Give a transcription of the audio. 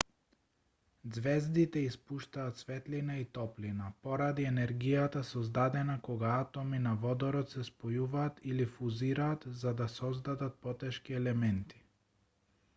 ѕвездите испуштаат светлина и топлина поради енергијата создадена кога атоми на водород се спојуваат или фузираат за да создадат потешки елементи